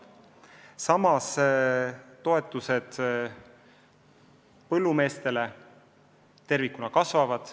Samas toetused põllumeestele tervikuna kasvavad.